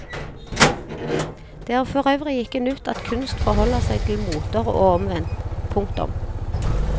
Det er forøvrig ikke nytt at kunst forholder seg til moter og omvendt. punktum